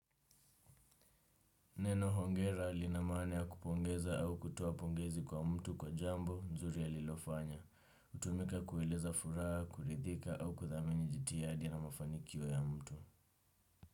Neno hongera linamaana ya kupongeza au kutoapongezi kwa mtu kwa jambo nzuri ya alilofanya. Utumika kueleza furaha, kuridhika au kuthamini jitiyadi na mafanikio ya mtu.